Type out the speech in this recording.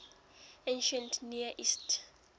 ancient near east